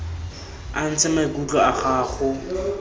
o ntshe maikutlo a gago